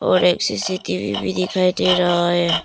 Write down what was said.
और एक C C T V भी दिखाई दे रहा है।